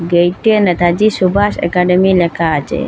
গেইটে Netaji Subhash academy লেখা আছে।